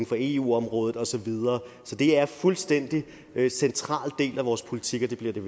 for eu området og så videre så det er en fuldstændig central del af vores politik og det bliver det